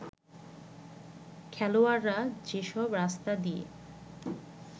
খেলোয়াড়রা যেসব রাস্তা দিয়ে